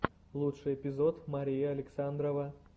лучший эпизод мария александрова